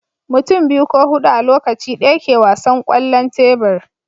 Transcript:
mutum biyu ko hudu a Lokaci daya ke wasan kwallon tebur